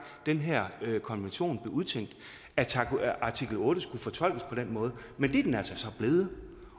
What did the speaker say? den her konvention blev udtænkt altså at artikel otte skulle fortolkes på den måde men det er den altså så blevet